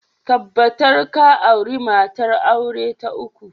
Tabbatar ka auri matar aure ta uku!